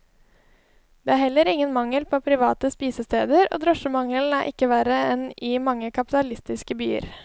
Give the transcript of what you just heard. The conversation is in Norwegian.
Det er heller ingen mangel på private spisesteder, og drosjemangelen er ikke verre enn i mange kapitalistiske byer.